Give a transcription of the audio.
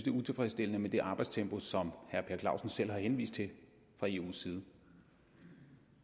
er utilfredsstillende med det arbejdstempo som herre per clausen selv har henvist til fra eus side